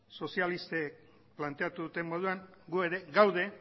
sozialistek planteatu duten moduan gu ere gaude